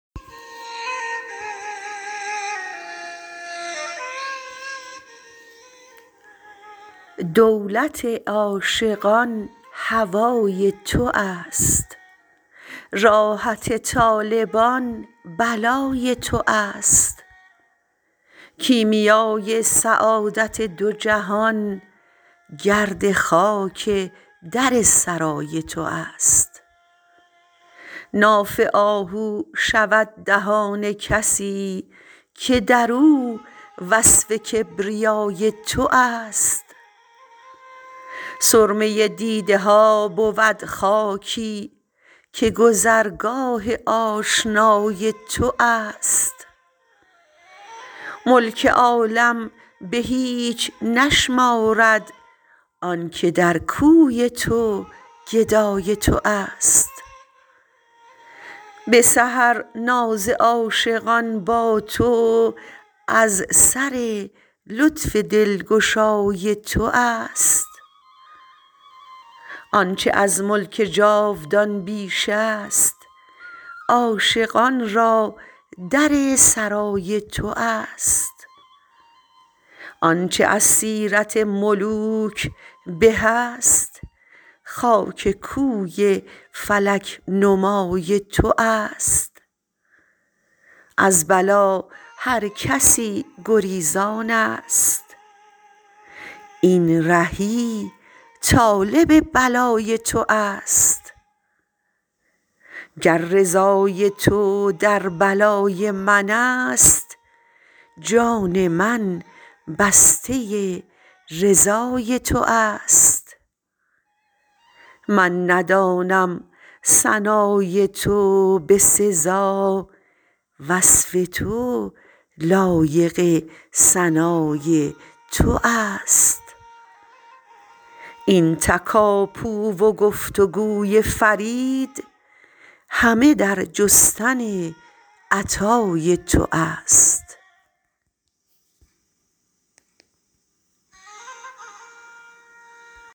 دولت عاشقان هوای تو است راحت طالبان بلای تو است کیمیای سعادت دو جهان گرد خاک در سرای تو است ناف آهو شود دهان کسی که درو وصف کبریای تو است سرمه دیده ها بود خاکی که گذرگاه آشنای تو است ملک عالم به هیچ نشمارد آنکه در کوی تو گدای تو است به سحر ناز عاشقان با تو از سر لطف دلگشای تو است آنچه از ملک جاودان بیش است عاشقان را در سرای تو است آنچه از سیرت ملوک به است خاک کوی فلک نمای تو است از بلا هر کسی گریزان است این رهی طالب بلای تو است گر رضای تو در بلای من است جان من بسته رضای تو است من ندانم ثنای تو به سزا وصف تو لایق ثنای تو است این تکاپوی و گفت و گوی فرید همه در جستن عطای تو است